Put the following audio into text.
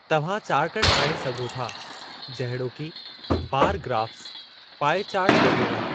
तव्हां चार्ट ठाहे सघो था जहिड़ोकि बारु ग्राफ़्स, पाए चार्टु वग़ैरह।